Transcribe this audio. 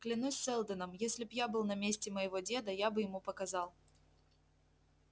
клянусь сэлдоном если б я был на месте моего деда я бы ему показал